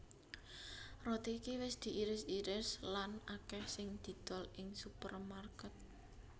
Roti iki wis diiris iris lan akèh sing didol ing supermarket